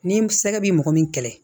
Ni sɛgɛ bi mɔgɔ min kɛlɛ